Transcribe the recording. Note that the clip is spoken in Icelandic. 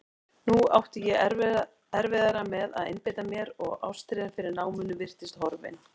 Nú átti ég erfiðara með að einbeita mér og ástríðan fyrir náminu virtist horfin.